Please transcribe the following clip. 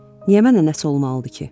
Niyə mənə nəsə olmalıdır ki?